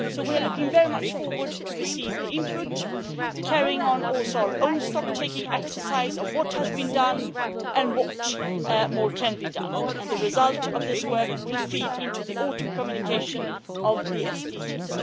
So we are looking very much forward to receive the input, carrying on also our own stocktaking exercise of what has been done and what more can be done, and the result of this work will feed into the autumn communication of the SDGs.